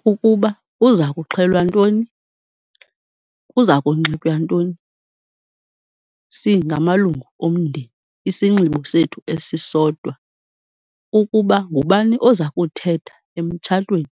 Kukuba kuza kuxhelwa ntoni, kuza kunxitywa ntoni singamalungu omndeni, isinxibo sethu esisodwa. Ukuba ngubani oza kuthetha emtshatweni,